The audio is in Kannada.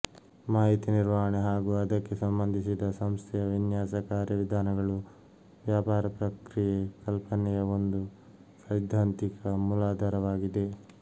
ಮಾಹಿತಿ ನಿರ್ವಹಣೆ ಹಾಗು ಅದಕ್ಕೆ ಸಂಬಂಧಿಸಿದ ಸಂಸ್ಥೆಯ ವಿನ್ಯಾಸ ಕಾರ್ಯವಿಧಾನಗಳು ವ್ಯಾಪಾರ ಪ್ರಕ್ರಿಯೆ ಕಲ್ಪನೆಯ ಒಂದು ಸೈದ್ಧಾಂತಿಕ ಮೂಲಾಧಾರವಾಗಿದೆ